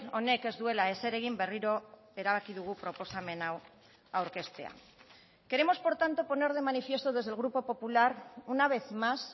honek ez duela ezer egin berriro erabaki dugu proposamen hau aurkeztea queremos por tanto poner de manifiesto desde el grupo popular una vez más